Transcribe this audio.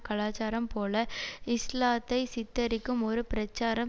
கலாச்சாரம் போல இஸ்லாத்தை சித்தரிக்கும் ஒரு பிரச்சாரம்